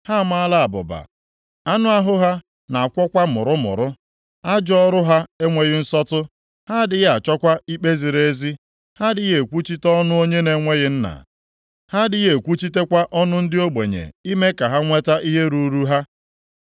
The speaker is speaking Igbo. ha amaala abụba, anụ ahụ ha na-akwọkwa mụrụmụrụ. Ajọ ọrụ ha enweghị nsọtụ; ha adịghị achọkwa ikpe ziri ezi. Ha adịghị ekwuchite ọnụ onye na-enweghị nna; ha adịghị ekwuchitekwa ọnụ ndị ogbenye ime ka ha nweta ihe ruuru ha.